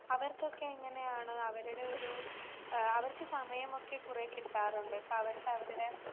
അവർക്കൊക്കെ എങ്ങനെയാണ് അവരുടെ ഒരു ആഹ് സമയമൊക്കെ കുറേ കിട്ടാറുണ്ടോ? അവർക്ക് അവരുടെ